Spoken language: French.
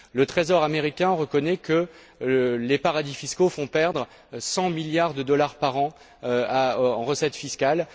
Le Trésor américain reconnaît que les paradis fiscaux font perdre 100 milliards de dollars par an en recettes fiscales.